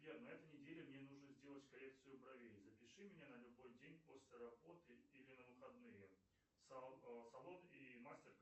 сбер на этой неделе мне нужно сделать коррекцию бровей запиши меня на любой день после работы или на выходные салон и мастер